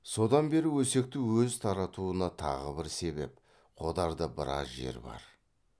содан бері өсекті өзі таратуына тағы бір себеп қодарда біраз жер бар